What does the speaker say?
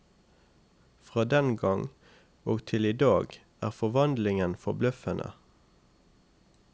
Fra den gang og til i dag er forvandlingen forbløffende.